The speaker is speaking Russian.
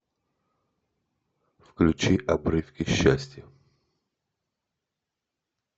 включи обрывки счастья